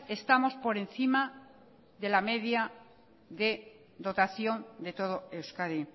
estamos por encima de la media de dotación de todo euskadi